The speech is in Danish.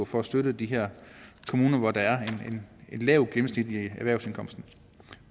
for at støtte de her kommuner hvor der er en lav gennemsnitlig erhvervsindkomst